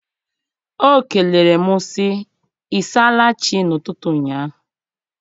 O kelere m sị ịsaala chi n'ụtụtụ ụnyaahụ.